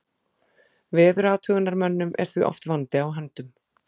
Veðurathugunarmönnum er því oft vandi á höndum.